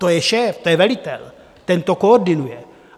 To je šéf, to je velitel, ten to koordinuje.